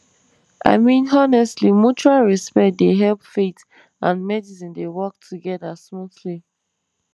i mean honestly mutual respect dey help faith and medicine dey work together smoothly